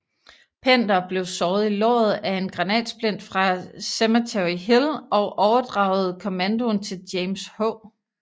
Pender blev såret i låret af en granatsplint fra Cemetery Hill og overdragede kommandoen til James H